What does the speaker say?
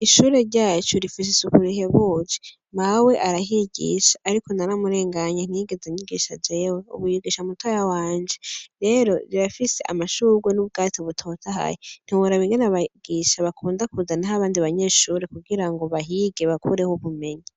Ishure ryacu rifise isuku rihebuje. Mawe arahigisha ariko naramurenganye ntiyigeze anyigisha jewe, ubu yigisha mutiya wanje. Rero rirafise amashugwe n'ubwatsi butotahaye, ntiworaba ingene abigisha bakunda kuzanaho abandi banyeshure kugirango bahige, bakureho ubumenyi.